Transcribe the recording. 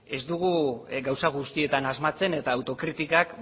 ez dugu gauza guztietan asmatzen eta autokritikak